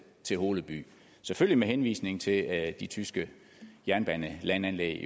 til holeby selvfølgelig med henvisning til at de tyske jernbanelandanlæg